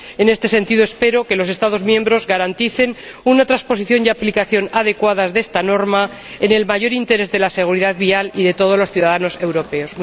En este sentido, espero que los Estados miembros garanticen una transposición y aplicación adecuadas de esta norma, en el mayor interés de la seguridad vial y de todos los ciudadanos europeos.